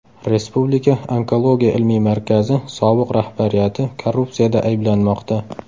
Respublika onkologiya ilmiy markazi sobiq rahbariyati korrupsiyada ayblanmoqda .